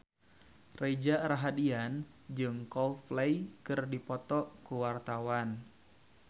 Reza Rahardian jeung Coldplay keur dipoto ku wartawan